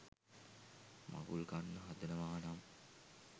මඟුල් කන්න හදනවා නම්